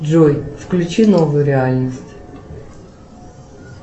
джой включи новую реальность